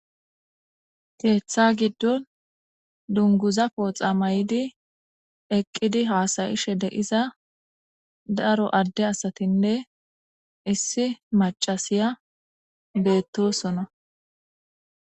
Keeththa giddon dunguza pooxa may'idi eqqidi haasayishe deiza daro adde asatinne issi macasiya beettosona.